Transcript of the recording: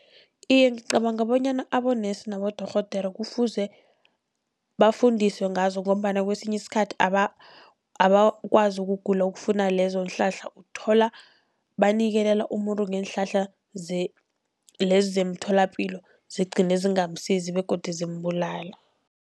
Iye, ngicabanga bonyana abonesi nabodorhodere kufuze bafundiswe ngazo, ngombana kesinye isikhathi abakwazi ukugula okufuna lezonhlahla. Uthola banikelela umuntu ngeenhlahla lezi zemtholapilo zigcine zingamsizi begodu zimbulala.